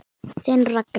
Þinn Ragnar.